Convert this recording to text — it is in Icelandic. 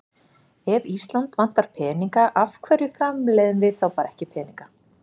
Ef Ísland vantar peninga af hverju framleiðum við þá bara ekki peninga?